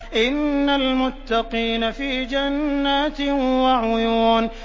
إِنَّ الْمُتَّقِينَ فِي جَنَّاتٍ وَعُيُونٍ